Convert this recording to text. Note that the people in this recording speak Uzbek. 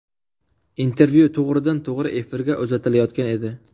Intervyu to‘g‘ridan-to‘g‘ri efirga uzatilayotgan edi.